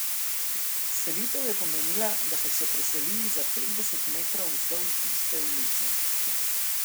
Selitev je pomenila, da so se preselili za petdeset metrov vzdolž iste ulice.